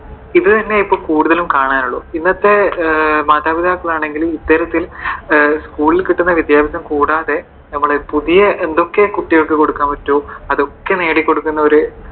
ഇത് തന്നെയേ ഇപ്പോഴും കൂടുതൽ കാണാനുള്ളൂ. ഇന്നത്തെ മാതാപിതാക്കൾ ആണെങ്കിലും school ൽ കിട്ടുന്ന വിദ്യാഭ്യാസം കൂടാതെ നമ്മുടെ പുതിയ എന്തൊക്കെ കുട്ടികൾക്ക് കൊടുക്കാൻ പറ്റുവോ അതൊക്കെ നേടി കൊടുക്കുന്ന ഒരു